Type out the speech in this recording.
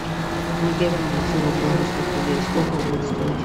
помоги обменять сорок белорусских рублей сколько будет стоить